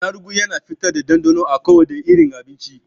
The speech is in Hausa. Attaruhu Yana fitar da ɗanɗanon a kowane irin abinci.